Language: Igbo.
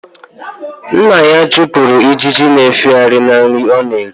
Nna ya chụpụrụ ijiji na-efegharị na nri ọ na-eri